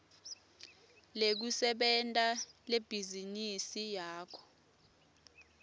lekusebenta lebhizinisi yakho